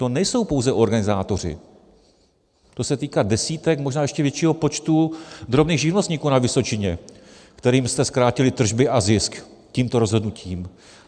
To nejsou pouze organizátoři, to se týká desítek, možná ještě většího počtu, drobných živnostníků na Vysočině, kterým jste zkrátili tržby a zisk tímto rozhodnutím.